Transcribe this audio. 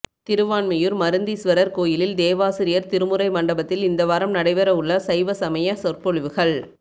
திருவான்மியூர் மருந்தீஸ்வரர் கோயிலில் தேவாசிரியர் திருமுறை மண்டபத்தில் இந்த வாரம் நடைபெற உள்ள சைவ சமய சொற்பொழிவுகள்